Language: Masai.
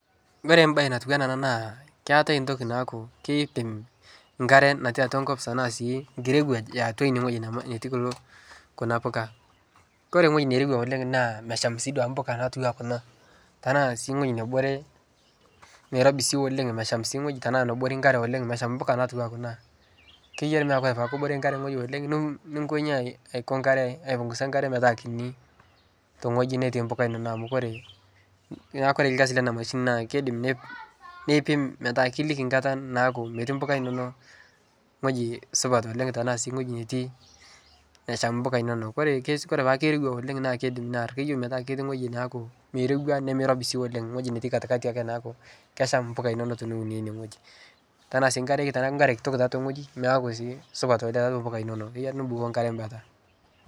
Kore baye natuwana naa keatae ntoki naaku keipim nkare natii atwa nkop tanaa sii nkirewaj eatwaine ng'oji nema netii kulo kuna mbuka, kore ng'oji nerewaa oleng' naa mesham sii duake buka natuwaa kuna , tanaa sii ng'oji nebore nairobi sii oleng' mesham sii ng'oji tanaa nabore nkare oleng' mesham mbuka natuwaa kuna, keyiari metaa kore paa kebore nkare ng'oji oleng' nni ninkonyi ainy aiko nkare aipunguza nkare metaa kini teng'oji netii mbuka inono amu kore naa kore lgasi ena mashini naa keidim neip neipim metaa kilikini nkata naaku metii mbuka inono ng'oji supat oleng' tanaa sii ng'oji netii nesham mbuka inono. Kore kes kore peaku keirewa oleng' naa keidim near keyeu metaa keti ng'oji naaku meireuwa nemeirobi sii oleng' ng'oji neti katikati ake neaku kesham mpuka inono tiniune ine ng'oji, tanaa sii nkare teneaku nkare kitok teatwa ine ng'oji meaku sii supat oleng' taatwa mbuka inono keyeari nibukoo nkare mbata.